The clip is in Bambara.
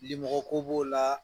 Limɔgɔ ko b'o la.